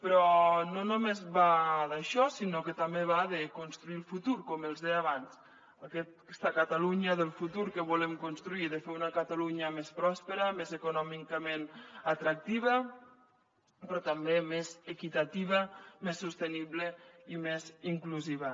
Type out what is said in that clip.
però no només va d’això sinó que també va de construir el futur com els deia abans aquesta catalunya del futur que volem construir i de fer una catalunya més pròspera més econòmicament atractiva però també més equitativa més sostenible i més inclusiva